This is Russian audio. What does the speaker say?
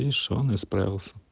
и что он исправился